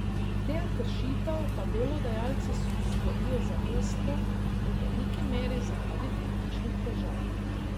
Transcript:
Del kršitev pa delodajalci storijo zavestno, v veliki meri zaradi finančnih težav.